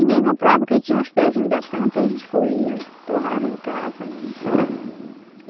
Ninguém comprava porque tinha os pezinhos da planta, a gente escolhia, torrava em casa mesmo.